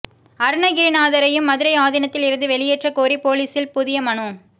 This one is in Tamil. அருணகிரிநாதரையும் மதுரை ஆதீனத்தில் இருந்து வெளியேற்ற கோரி போலீசில் புதிய மனு